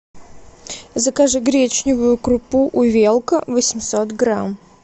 закажи гречневую крупу увелка восемьсот грамм